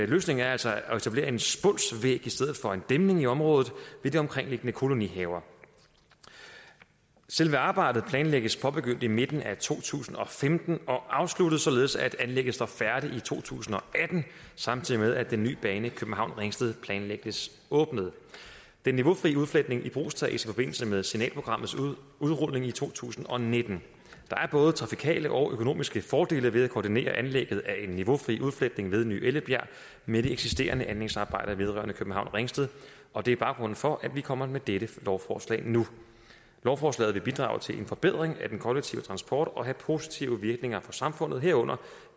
løsningen er altså at etablere en spunsvæg i stedet for en dæmning i området ved de omkringliggende kolonihaver selve arbejdet planlægges påbegyndt i midten af to tusind og femten og afsluttet således at anlægget står færdigt i to tusind og atten samtidig med at den nye bane københavn ringsted planlægges åbnet den niveaufrie udfletning ibrugtages i forbindelse med signalprogrammets udrulning i to tusind og nitten der er både trafikale og økonomiske fordele ved at koordinere anlægget af en niveaufri udfletning ved ny ellebjerg med de eksisterende anlægsarbejder vedrørende københavn ringsted og det er baggrunden for at vi kommer med dette lovforslag nu lovforslaget vil bidrage til en forbedring af den kollektive transport og have positive virkninger for samfundet herunder